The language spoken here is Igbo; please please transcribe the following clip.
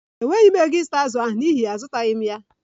E nweghi m ego ị nweta azù ahụ n'ihi ya azụtaghi m ya